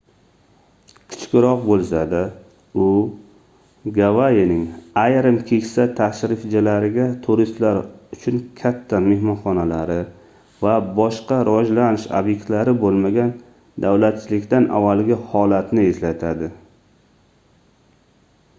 kichikroq boʻlsa-da u gavayining ayrim keksa tashrifchilariga turistlar uchun katta mehmonxonalari va boshqa rivojlanish obyektlari boʻlmagan davlatchilikdan avvalgi holatni eslatadi